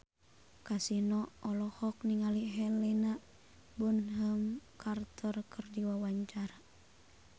Kasino olohok ningali Helena Bonham Carter keur diwawancara